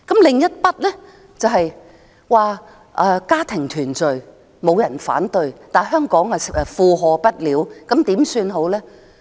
另一方面，沒有人會反對家庭團聚，但香港負荷不了，怎麼辦呢？